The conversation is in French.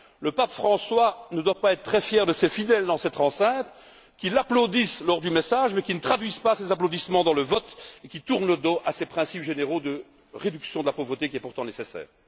Le Pape François ne doit pas être très fier de ses fidèles, dans cette enceinte, qui l'applaudissent lors du message mais qui ne traduisent pas ces applaudissements dans le vote et qui tournent le dos à ces principes généraux de la réduction de la pauvreté, pourtant nécessaire.